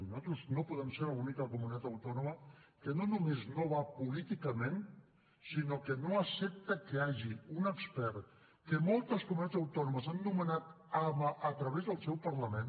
nosaltres no podem ser l’única comunitat autònoma que no només no hi va políticament sinó que no accepta que hi hagi un expert que moltes comunitats autònomes han nomenat a través del seu parlament